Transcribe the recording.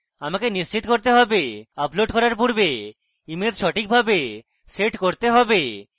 আমাকে নিশ্চিত করতে হবে upload করার পূর্বে ইমেজ সঠিকভাবে set করতে হবে